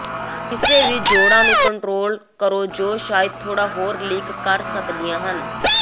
ਕਿਸੇ ਵੀ ਜੋੜਾਂ ਨੂੰ ਕੰਟ੍ਰੋਲ ਕਰੋ ਜੋ ਸ਼ਾਇਦ ਥੋੜਾ ਹੋਰ ਲੀਕ ਕਰ ਸਕਦੀਆਂ ਹਨ